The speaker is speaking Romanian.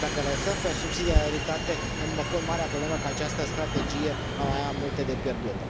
Iar dacă le lăsăm pe subsidiaritate, îmi pun marea problemă că această strategie va mai avea multe de pierdut.